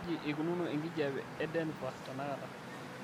kaji eikununo enkijiape edenver tenakata